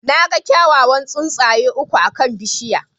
Na ga kyawawan tsuntsaye uku akan bishiyar.